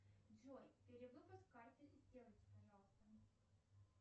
джой перевыпуск карты сделайте пожалуйста